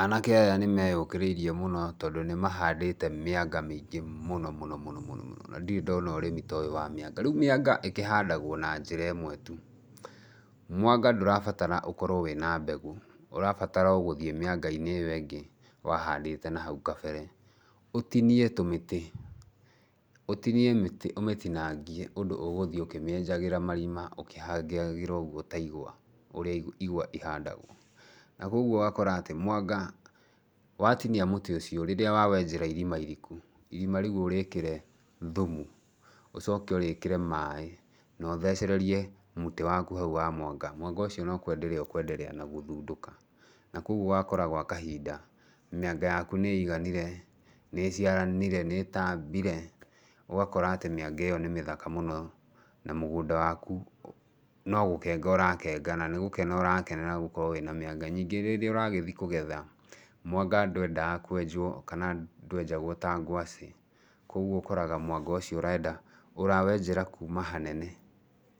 Anake aya nĩ meyũkĩrĩirie mũno tondũ nĩ mahandĩte mĩanga mĩingĩ mũno mũno mũno, na ndirĩ ndona ũrĩmi toyũ wa mĩanga. Rĩu mĩanga ĩkĩhandagwo na njĩra ĩmwe tu, mwanga ndũrabatara ũkorwo wĩna mbegũ, ũrabatara o gũthiĩ mĩanga-inĩ ĩyo ĩngĩ wahandĩte nahau kabere, ũtinie tũmĩtĩ, ũtinie mĩtĩ ũmĩtinangie ũndũ ũgũthiĩ ũkĩmĩenjagĩra marima ũkĩhangagĩra ũguo ta igwa ũrĩa igwa ihandagwo, na koguo ũgakora atĩ mwanga watinia mũtĩ ũcio rĩrĩa wa wenjera irima iriku, irima rĩu ũrĩkĩre thumu, ũcoke ũrĩkĩre maĩ, nothecererie mũtĩ waku hau wa mwanga, mwanga ũcio no kwenderea ũkwendera na gũthundũka na koguo ũgakora gwa kahinda mĩanga yaku nĩ ĩiganire, nĩ ĩciaranire, nĩ ĩtambire, ũgakora atĩ mĩanga ĩyo nĩ mĩthaka mũno, na mũgũnda waku no gũkenga ũrakenga, na nĩ gũkena ũrakena nĩ gũkorwo wĩna mĩanga. Ningĩ rĩrĩa ũragĩthiĩ kũgetha, mwanga ndwendaga kwenjwo kana ndwenjagwo ta ngwaci, koguo ũkoraga mwanga ũcio ũrenda, ũrawenjera kuuma hanene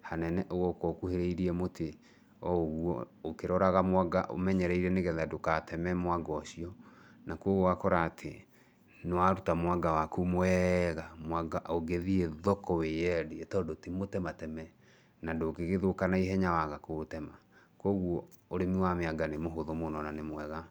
hanene ũgoka ũkuhĩrĩirie mũtĩ o ũguo ũkĩroraga mwanga ũmenyereire nĩgetha ndũgateme mwanga ũcio, na koguo ũgakora atĩ nĩ waruta mwanga waku mwega, mwanga ũngĩthiĩ thoko wĩyendie tondũ timũtemateme na ndũngĩgĩthũka naihenya waga kũũtema. Koguo ũrĩmi wa mĩanga nĩ mũhũthũ mũno na nĩ mwega.